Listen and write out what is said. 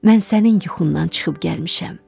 Mən sənin yuxundan çıxıb gəlmişəm.